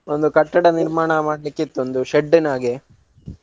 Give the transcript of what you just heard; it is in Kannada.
ಒಂದು ಕಟ್ಟಡ ನಿರ್ಮಾಣ ಮಾಡ್ಲಿಕ್ಕಿತು ಒಂದು shed ನ ಹಾಗೆ.